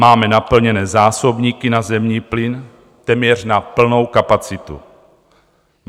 Máme naplněné zásobníky na zemní plyn téměř na plnou kapacitu.